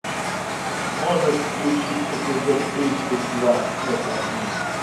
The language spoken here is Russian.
можешь включить эпизод тридцать два это мы